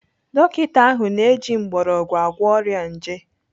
Dọkita ahụ na-eji mgbọrọgwụ agwọ ọrịa nje.